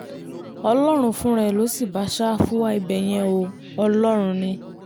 ọlọ́run fúnra ẹ̀ ló sì bá ṣáfù wá ibẹ̀ yẹn o ọlọ́run ni